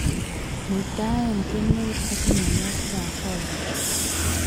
muitaen kemeut ak myanwogikap foliar